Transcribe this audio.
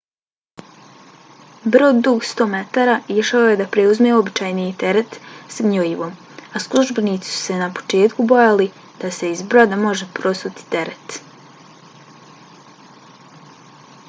brod dug 100 metara išao je da preuzme uobičajeni teret s gnojivom a službenici su se na početku bojali da se iz broda može prosuti teret